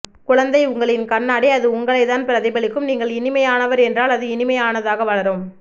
குழந்தை உங்களின் கண்ணாடி அது உங்களை தான் பிரதிபலிக்கும் நீங்கள் இனிமையானவர் என்றால் அது இனிமையானதாக வளரும்